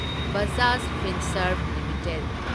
Bajaj Finserv limited